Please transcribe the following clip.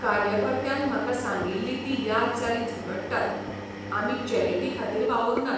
कार्यकर्त्यान म्हाका सांगिल्ली ती याद जाली झगडटात , आमी चॅरिटी खातीर वावुरनात.